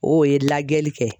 O ye lajɛli kɛ.